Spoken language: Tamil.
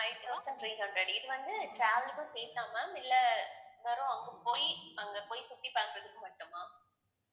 five thousand three hundred இது வந்து travel க்கும் சேர்த்தா ma'am இல்லை வெரும் அங்க போயி அங்க போய் சுத்தி பாக்குறதுக்கு மட்டுமா